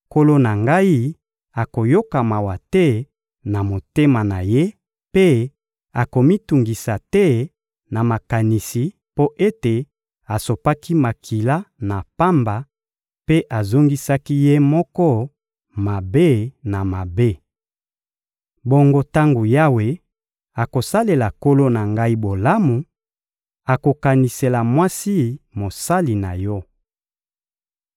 nkolo na ngai akoyoka mawa te na motema na ye mpe akomitungisa te na makanisi mpo ete asopaki makila na pamba mpe azongisaki ye moko mabe na mabe. Bongo tango Yawe akosalela nkolo na ngai bolamu, okokanisela mwasi mosali na yo.